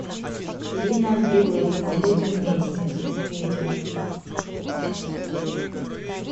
ирина билык мы будем вместе видео